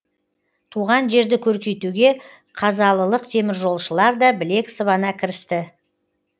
туған жерді көркейтуге қазалылық теміржолшылар да білек сыбана кірісті